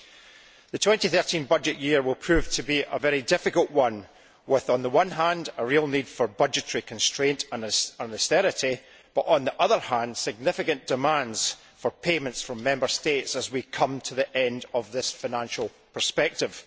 The 2013 budget year will prove to be a very difficult one with, on the one hand, a real need for budgetary constraint and austerity but, on the other hand, significant demands for payments from Member States as we come to the end of this financial perspective.